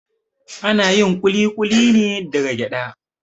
Ana yin kulikuli ne daga gyaɗa